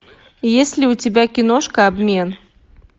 есть ли у тебя киношка обмен